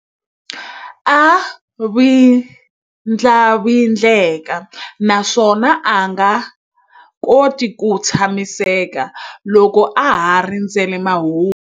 A vindlavindleka naswona a nga koti ku tshamiseka loko a ha rindzerile mahungu.